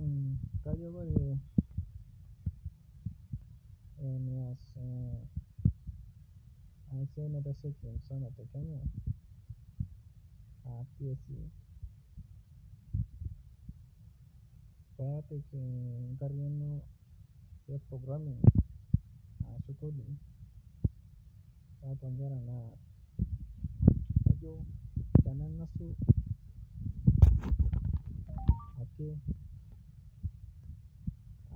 Ore kajo ore enaa enasia naitasheki enkisuma tekenya pepik enkariano e programming ashu coding atua nkera na kajo tana engasu ake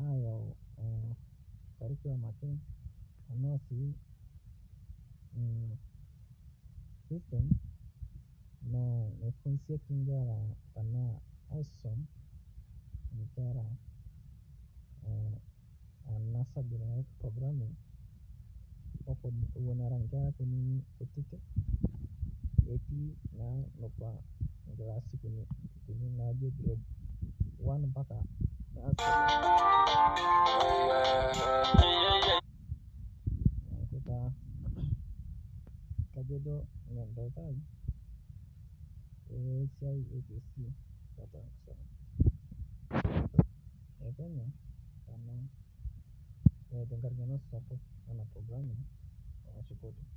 ayau karikulam pookin naa aisum nkera tenatoki e programing pepuo nkera kutitik ketii na grade one neaku taa kajo duo kesidai enasia tolosho le kenya tenkariano sapuk ena programming ashu coding